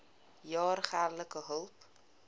jaar geldelike hulp